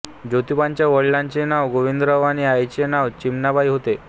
जोतिबांच्या वडिलांचे नाव गोविंदराव आणि आईचे नाव चिमणाबाई होते